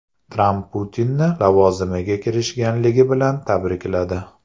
Tramp Putinni lavozimiga kirishganligi bilan tabrikladi.